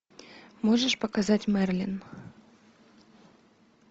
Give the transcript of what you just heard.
можешь показать мерлин